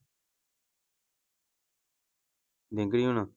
ਹੋਣਾ।